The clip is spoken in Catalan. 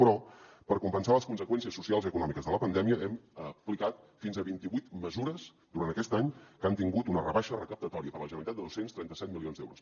però per compensar les conseqüències socials i econòmiques de la pandèmia hem aplicat fins a vint i vuit mesures durant aquest any que han tingut una rebaixa recaptatòria per a la generalitat de dos cents i trenta set milions d’euros